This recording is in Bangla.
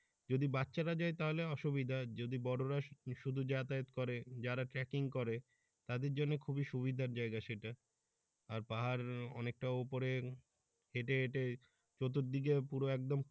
যদি বাচ্চারা যায় তাহলে অসুবিধা যদি বড়রা শুধু যাতায়ত করে যারা ট্রেকিং করে তাদের জন্য খুবই সুবিধার জায়গা সেটা আর পাহাড় অনেক টা উপরে হেটে হেটে চতুর্দিকে পুরো একদম।